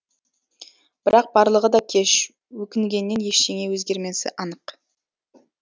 бірақ барлығы да кеш өкінгеннен ештеңе өзгермесі анық